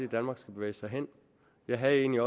danmark skal bevæge sig hen jeg havde egentlig